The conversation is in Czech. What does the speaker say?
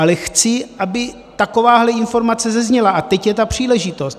Ale chci, aby takováhle informace zazněla, a teď je ta příležitost.